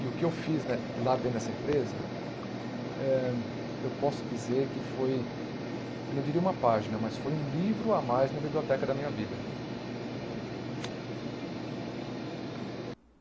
E o que eu fiz né lá lá dentro dessa empresa eh, eu posso dizer que foi, eu não diria uma página, mas foi um livro a mais na biblioteca da minha vida.